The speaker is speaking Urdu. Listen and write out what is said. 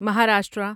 مہاراشٹرا